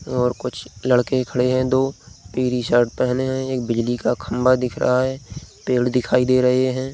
और कुछ लड़के खड़े हैं दो पिली शर्ट पहने है एक बिजली का खम्बा दिख रहा है पेड़ दिखाई दे रहें हैं।